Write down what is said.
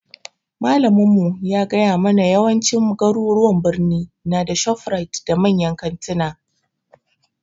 Malamin mu ya gaya mabna yawancin garuruwan birni na da shofrite da manyan kanttuna